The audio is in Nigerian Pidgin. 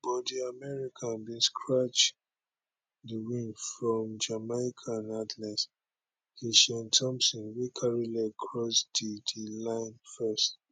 but di american bin snatch di win from jamaican athlete kishane thomson wey carry leg cross di di line first